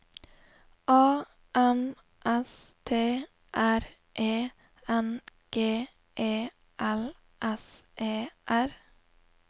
A N S T R E N G E L S E R